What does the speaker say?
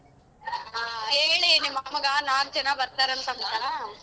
ಹ ಹೇಳಿ ನಿಮ್ ಅಮ್ಮಗ ನಾಕ್ ಜನ ಬತ್ತಾರ್ ಅಂತ್ ಅಂತ.